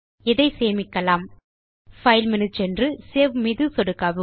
இதை சேமிக்கலாம்File மேனு சென்று சேவ் மீது சொடுக்கவும்